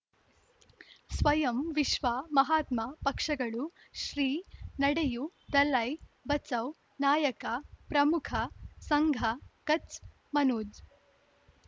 ಸ್ವಯಂ ವಿಶ್ವ ಮಹಾತ್ಮ ಪಕ್ಷಗಳು ಶ್ರೀ ನಡೆಯೂ ದಲೈ ಬಚೌ ನಾಯಕ ಪ್ರಮುಖ ಸಂಘ ಕಚ್ ಮನೋಜ್